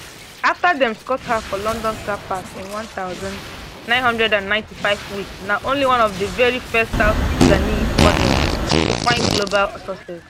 afta dem scout her for london car park in one thousand, nine hundred and ninety-five wek na one of di veri first south sudanese models to find global success